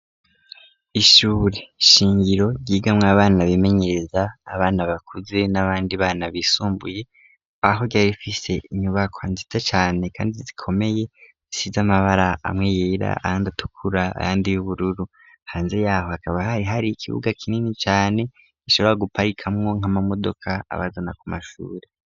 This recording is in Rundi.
Ishure shingiro ryigamwo abana bimenyereza abana bakuze n'abandi bana bisumbuye aho ryari fise inyubakwa nziza cane kandi zikomeye isiz'amabara amwe yera ahandatukura ahandi y'ubururu hanze yaho hakaba hari hari ikibuga kinini cyane gishobora guparika mwo nk'amamodoka abazana ku mashure.